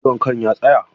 Ciwon kan ya tsaya?